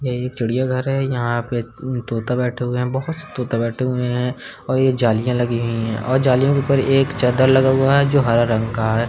यह एक चिड़ियाघर है। यहाँ पे तोता बैठा हुआ है। बहोत से तोता बैठे हुए हैं और ये जालियाँ लगी हुई हैं और जालियों के ऊपर एक चदर लगा हुआ है जो हरा रंग का है।